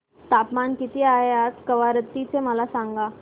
तापमान किती आहे आज कवारत्ती चे मला सांगा